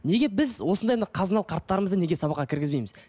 неге біз осындай мына қазыналы қарттарымызды неге сабаққа кіргізбейміз